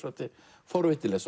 forvitnilegt